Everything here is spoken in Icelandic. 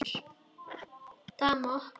Dama opnar.